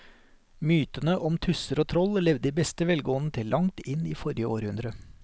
Mytene om tusser og troll levde i beste velgående til langt inn i forrige århundre.